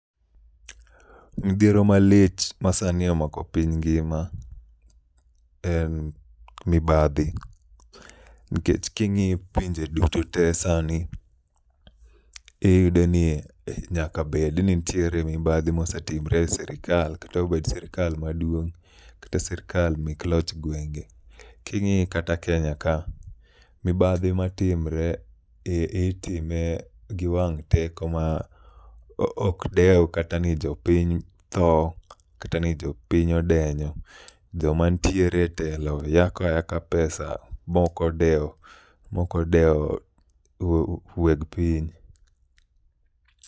Mdhiero malich ma sani omako piny ngima en mibadhi. Nkech king'iyo pinje duto te sani, iyudo ni e nyaka bed ni nitiere mibadhi mosetimre e sirikal. Kata obed sirikal maduong', kate sirikal mek loch gwenge. King'i kata Kenya ka, mobadhi ma timre itime gi wang' teko ma ok dew kata ni jopiny tho, kata ni jopiny odenyo. Joma ntiere e telo yako ayaka pesa mokodewo, mokodewo weg piny.